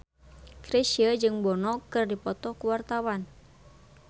Chrisye jeung Bono keur dipoto ku wartawan